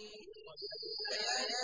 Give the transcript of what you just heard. وَمِنْ آيَاتِهِ أَن يُرْسِلَ